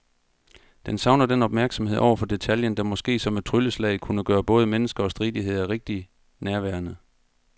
Den savner den opmærksomhed over for detaljen, der måske som et trylleslag kunne gøre både mennesker og stridigheder rigtig nærværende.